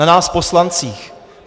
Na nás poslancích.